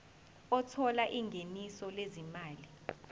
othola ingeniso lezimali